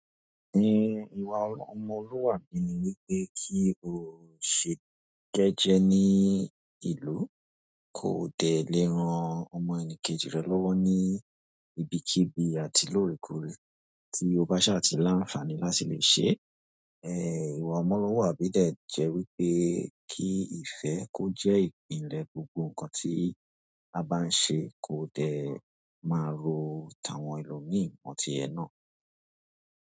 Ní ìwà ọmọlúwàbí ni wí pé kí o ṣe jẹ́jẹ́ ní ìlú, ko dẹ lè ran ọmọ ẹni kejì rẹ lọ́wọ́ ní ibikíbi àti lóòrèkóòrè, tí o bá ṣàtì láǹfààní láti lè ṣe. Ẹ ìwà ọmọlúwàbí dẹ̀ jẹ wí pé kí ìfẹ́ kó jẹ́ ìpìlẹ̀ gbogbo ǹkan tí a bá ń ṣe, ko dẹ̀ máa ró tàwọn ẹlòmíì mọ́ ti ẹ náà.